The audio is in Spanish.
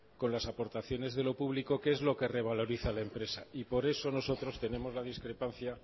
con las aportaciones de lo público que es lo que revaloriza a la empresa y por eso nosotros tenemos la discrepancia